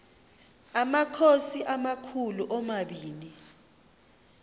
amakhosi amakhulu omabini